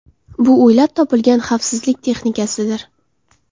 Bu o‘ylab topilgan xavfsizlik texnikasidir.